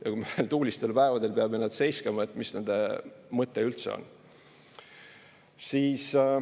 Ja kui me tuulistel päevadel peame need seiskama, mis nende mõte üldse on?